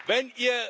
wenn